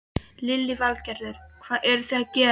Lillý Valgerður: Hvað eru þið að gera?